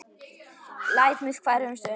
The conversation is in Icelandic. Læt mig hverfa um stund.